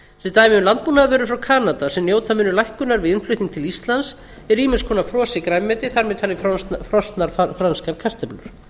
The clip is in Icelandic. sem dæmi um landbúnaðarvörur frá kanada sem njóta munu lækkunar við innflutning til íslands er ýmiss konar frosið grænmeti þar með talið frosnar franskar kartöflur